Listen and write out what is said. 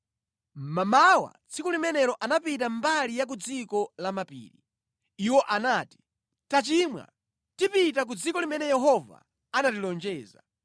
Mmamawa tsiku linalo anapita mbali ya ku dziko la mapiri. Iwo anati, “Tachimwa, tipita ku dziko limene Yehova anatilonjeza.”